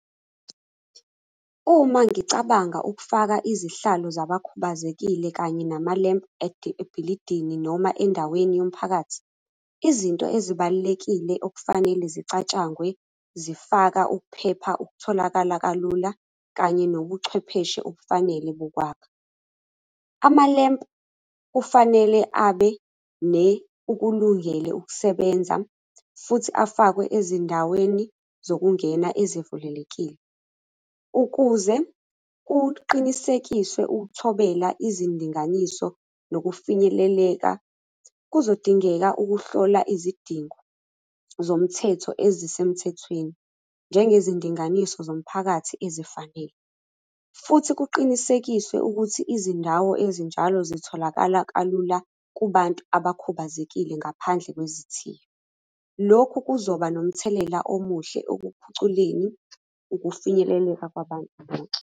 Uma ngicabanga ukufaka izihlalo zabakhubazekile kanye namalempu ebhilidini noma endaweni yomphakathi, izinto ezibalulekile okufanele zicatshangwe, zifaka ukuphepha okutholakala kalula, kanye nobuchwepheshe obufanele bokwakha. Amalempu kufanele abe ukulungele ukusebenza, futhi afakwe ezindaweni zokungena ezivulelekile. Ukuze kuqinisekiswe ukuthobela izindinganiso nokufinyeleleka, kuzodingeka ukuhlola izidingo zomthetho ezisemthethweni, njengezindinganiso zomphakathi ezifanele, futhi kuqinisekiswe ukuthi izindawo ezinjalo zitholakala kalula kubantu abakhubazekile ngaphandle kwezithiyo. Lokhu kuzoba nomthelela omuhle ekuphuculeni ukufinyeleleka kwabantu bonke.